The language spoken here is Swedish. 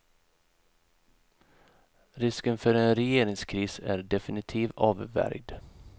Risken för en regeringskris är definitivt avvärjd.